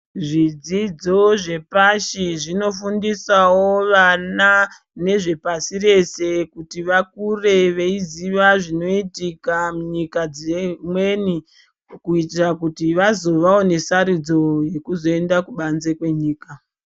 Zvidzidzo zvepasi zvinofundisawo wana nezvepasi rese kuti vakure weiziwa zvinoitika munyika dzimweni kutira kuti wazowawo nesarudzo yekuzoenda kubanze kwenyika.